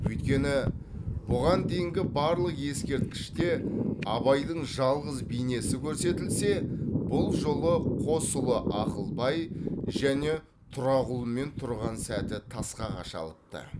өйткені бұған дейінгі барлық ескерткіште абайдың жалғыз бейнесі көрсетілсе бұл жолы қос ұлы ақылбай және тұрағұлмен тұрған сәті тасқа қашалыпты